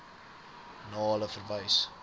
na hulle verwys